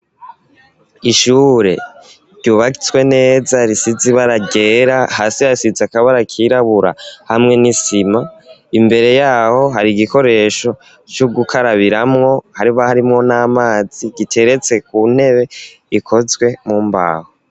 Ishure, ryubatswe neza, risize ibara ryera; hasi hasize, akabara kirabura, hamwe n'isima; imbere y'aho, hari igikoresho, c'ugukarabiramwo, haba, harimwo n'amazi, giteretse ku ntebe, ikozwe mu mbaho.